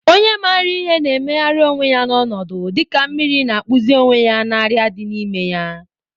Onye maara ihe na-emegharị onwe ya n'ọnọdụ, dịka mmiri na-akpụzi onwe ya na arịa dị n'ime ya.